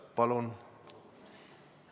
Palun!